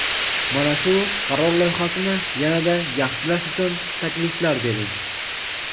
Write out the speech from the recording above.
Mana shu qaror loyihasini yana-da yaxshilash uchun takliflar bering.